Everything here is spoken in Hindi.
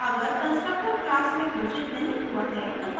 अगर constructor class में घोषित नहीं हुआ है